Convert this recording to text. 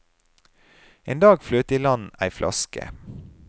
En dag fløt det i land ei flaske.